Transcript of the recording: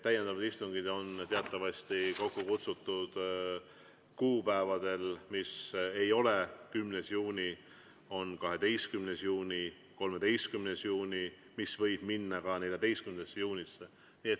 Täiendavad istungid on teatavasti kokku kutsutud kuupäevadel, mis ei ole 10. juuni, vaid on 12. juuni ja 13. juuni, mis võib minna ka 14. juunisse.